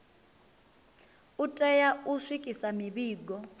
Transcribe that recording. u tea u swikisa mivhigo